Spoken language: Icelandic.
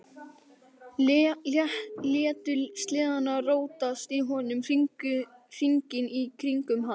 Létu sleðann rótast í honum, hringinn í kringum hann.